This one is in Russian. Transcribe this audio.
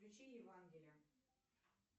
включи евангелие